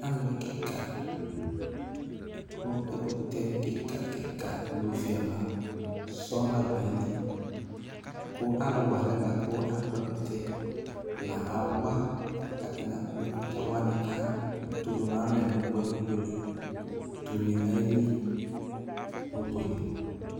Alɩ kɩka, kʋ ɛkʋtɛ kɩka-kɩka nʋ oviava sɔŋ la dʋ ayili, kʋ alʋ wa alɛna yɛ bʋa kʋ akpɔ ɛkʋtɛ, la awa, kʋ atanɩ akpɔ ɛkʋtɛ wanɩ tʋ dʋ nʋ alɛ nʋ ʋbʋɛ nʋ ʋbʋɛ li, dʋ une nʋ ayili, nʋ ʋbʋɛ li